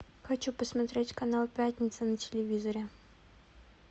хочу посмотреть канал пятница на телевизоре